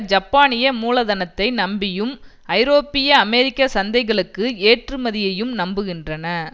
ஜப்பானிய மூலதனத்தை நம்பியும் ஐரோப்பிய அமெரிக்க சந்தைகளுக்கு ஏற்றுமதியையும் நம்புகின்றன